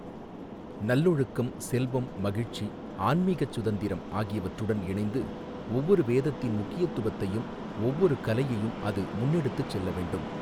நல்லொழுக்கம், செல்வம், மகிழ்ச்சி, ஆன்மீகச் சுதந்திரம் ஆகியவற்றுடன் இணைந்து ஒவ்வொரு வேதத்தின் முக்கியத்துவத்தையும், ஒவ்வொரு கலையையும் அது முன்னெடுத்துச் செல்ல வேண்டும்.